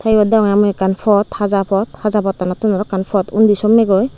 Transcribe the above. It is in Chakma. eote bagan akan pot haja pot hajapotanow tun arow akan pot undi sommaygoie.